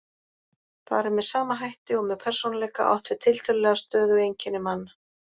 Þar er með sama hætti og með persónuleika átt við tiltölulega stöðug einkenni manna.